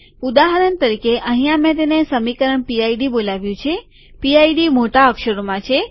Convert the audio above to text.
ઉદાહરણ તરીકે અહીંયા મેં તેને સમીકરણ પીઆઈડી બોલાવ્યું છે પીઆઈડી મોટા અક્ષરોમાં છે